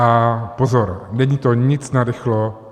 A pozor, není to nic narychlo.